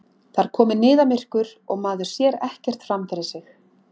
Það er komið niðamyrkur og maður sér ekkert fram fyrir sig!